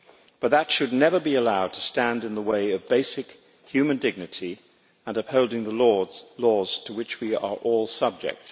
But that should never be allowed to stand in the way of basic human dignity and upholding the laws to which we are all subject.